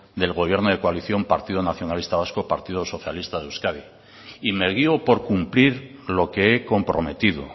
del gobierno de coalición partido nacionalista vasco partido socialista de euskadi y me guío por cumplir lo que he comprometido